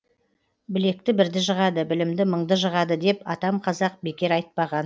білекті бірді жығады білімді мыңды жығады деп атам қазақ бекер айтпаған